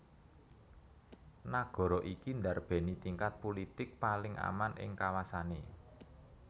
Nagara iki ndarbèni tingkat pulitik paling aman ing kawasané